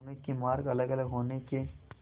दोनों के मार्ग अलगअलग होने के